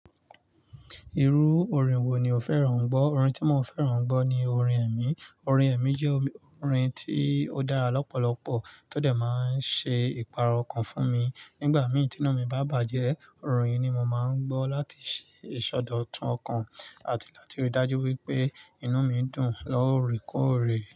Irú orin wo ni o fẹ́ràn gbọ́? Orin tí mo fẹ́ràn gbọ́ ni orin ẹ̀mí. Orin ẹ̀mí jẹ́ orin tí ó dára lọ́pọ̀lọpọ̀ tó dẹ̀ máa ń ṣe ìpàro ọkàn fún mi. Nígbà mìí tí inú mi bá bàjẹ́, orin ni mo máa ń gbọ́ láti ṣe ìsọdọ̀tun ọkàn àti láti rí i dájú wípé inú mi dùn lọ́ọ̀rẹ́kọọ̀rẹ́.